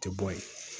Tɛ bɔ ye